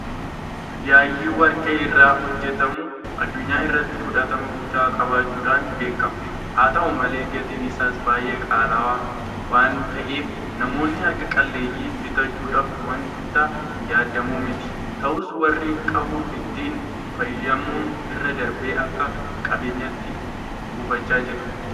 Yaayyi warqee irraa hojjetamu addunyaa irratti fudhatama guddaa qabaachuudhaan beekama. Haata'u malee gatiin isaas baay'ee qaala'aa waanta ta'eef namoonni harka qalleeyyiin bitachuudhaaf waanta yaadamu miti. Ta'us warri qabu ittiin faayamuu irra darbee akka qabeenyaatti kuufachaa jira.